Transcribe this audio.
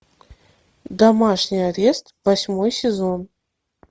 домашний арест восьмой сезон